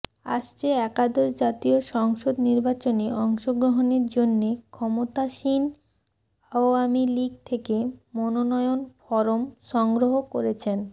আসছে একাদশ জাতীয় সংসদ নির্বাচনে অংশগ্রহণের জন্যে ক্ষমতাসীন আওয়ামী লীগ থেকে মনোনয়ন ফরম সংগ্রহ করেছেন